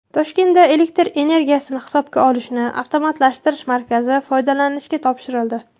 Toshkentda elektr energiyasini hisobga olishni avtomatlashtirish markazi foydalanishga topshirildi.